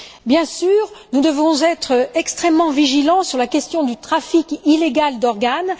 Bien sûr, nous devons être extrêmement vigilants sur la question du trafic illégal d'organes.